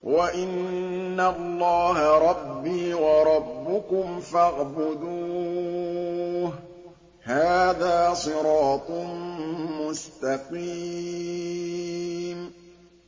وَإِنَّ اللَّهَ رَبِّي وَرَبُّكُمْ فَاعْبُدُوهُ ۚ هَٰذَا صِرَاطٌ مُّسْتَقِيمٌ